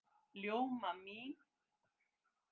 Ljóma mín!